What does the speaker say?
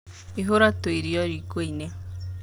Ihũra tu irio rikoinĩ.